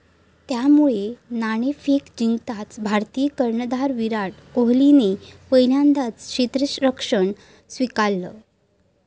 त्यामुळे नाणेफेक जिंकताच भारतीय कर्णधार विराट कोहलीने पहिल्यांदा क्षेत्ररक्षण स्वीकारलं.